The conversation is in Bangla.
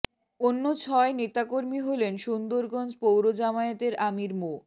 অন্য ছয় নেতাকর্মী হলেন সুন্দরগঞ্জ পৌর জামায়াতের আমির মো